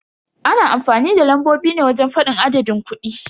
Ana amfanin da lambobi ne wajen fadin adadin kudi.